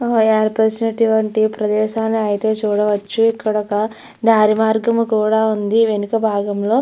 ఏర్పరిచినటువంటి ప్రదేశాన్ని అయితే చూడవచ్చు ఇక్కడ ఒక దారి మార్గము కూడా ఉంది. వెనక భాగం లో --